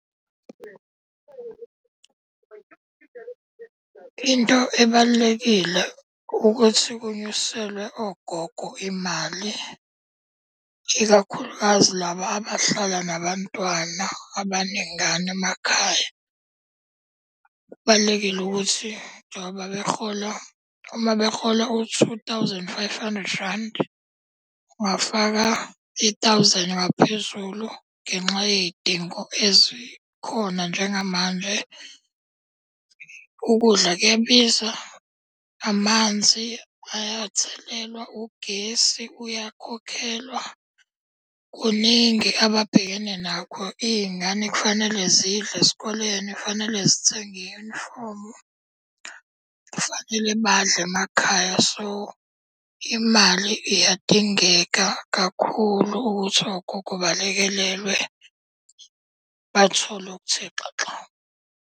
Into ebalulekile ukuthi ukunyuselwe ogogo imali, ikakhulukazi laba abahlala nabantwana abaningana emakhaya. Kubalulekile ukuthi njengoba behola, uma behola u-two thousand five hundred rand, ungafaka i-thousand ngaphezulu ngenxa ney'dingo ezikhona njengamanje. Ukudla kuyabiza, amanzi ayathelwa, ugesi uyakhokhelwa kuningi ababhekene nakho, iy'ngane kufanele zidle esikoleni kufanele zithenge i-uniform-u. Kufanele badle emakhaya, so imali iyadingeka kakhulu ukuthi ogogo balekelelwe bathole okuthe xaxa.